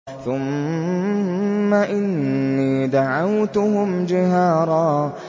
ثُمَّ إِنِّي دَعَوْتُهُمْ جِهَارًا